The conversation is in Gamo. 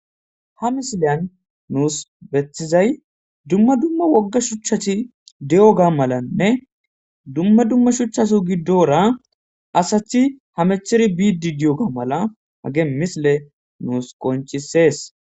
Ha misileyan nuus betizay dumma dumma wogga shuchchati di'o ga malanne dumma dumma shuchchasu giddora asachi hamecheri biidi di7o ga mala hage misile nuus qoncisees.